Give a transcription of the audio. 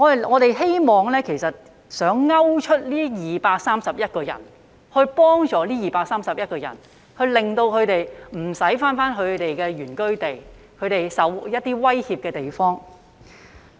我們希望能夠鈎出這231人並幫助他們，令他們不需要返回他們的原居地，即他們備受威脅的地方。